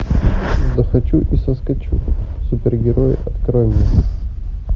захочу и соскочу супергерои открой мне